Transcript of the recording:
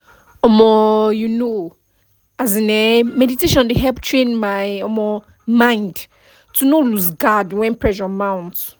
um you know [um][um]meditation dey help train my um mind to no lose guard when pressure mount